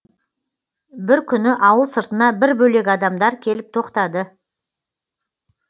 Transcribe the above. бір күні ауыл сыртына бір бөлек адамдар келіп тоқтады